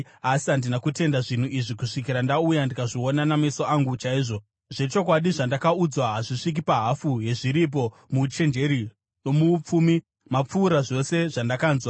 Asi handina kutenda zvinhu izvi kusvikira ndauya ndikazviona nameso angu chaiwo. Zvechokwadi, zvandakaudzwa hazvisviki pahafu yezviripo; muuchenjeri nomuupfumi mapfuura zvose zvandakanzwa.